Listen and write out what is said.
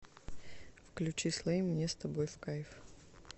включи слэйм мне с тобой в кайф